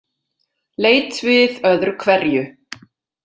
Leit við öðru hverju.